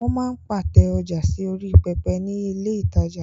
Wọ́n máa ń pàtẹ ọjà sí orí pẹpẹ ní ilé ìtajà.